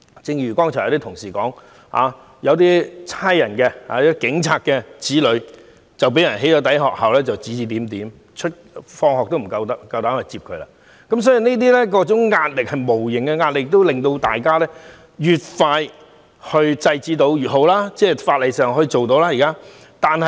正如剛才一些同事所說，有警務人員的子女被"起底"，不僅在學校被指指點點，往返學校也面對很多不便，這種種無形壓力，均令我們感到越快制止這些行為越好。